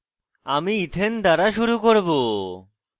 আমি ethane ethane দ্বারা শুরু করব